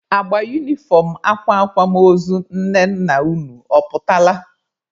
Agba unifọm akwa akwamozu nne nna unu ọ pụtala?